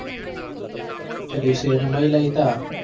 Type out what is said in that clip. તે દિવસે એને મયલા હતા.